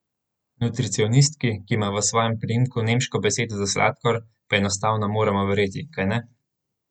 Nutricionistki, ki ima v svojem priimku nemško besedo za sladkor, pa enostavno moramo verjeti, kajne?